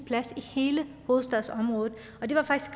i hele hovedstadsområdet og det var faktisk